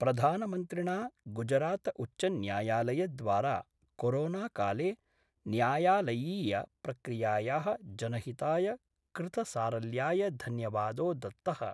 प्रधानमन्त्रिणा गुजरातउच्चन्यायालयद्वारा कोरोनाकाले न्यायलयीय प्रक्रियायाः जनहिताय कृतसारल्याय धन्यवादो दत्त:।